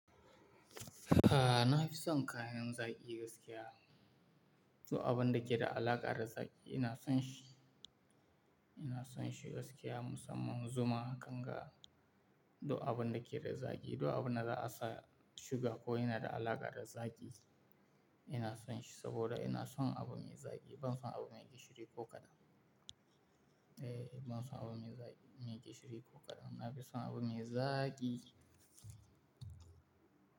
A'a, na fi son kayan zaki gaskiya. Du abun da ke da alaƙa da zaki ina son shi, ina son shi gaskiya musamman zuma, kanga, duk abun da ke da zaki, duk abun da za a sa suga ko yana da alaƙa da zaki ina son shi saboda ina son abu me zaki. Ban son abu me gishiri ko kaɗan. Eh, ban son abu me gishiri ko kaɗan. Na fi son abu me zaaaki.